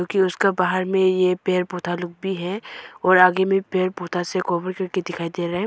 कि उसका बाहर में यह पेड़ पौधा भी है और आगे में पेड़ पौधा दिखाई दे रहा है।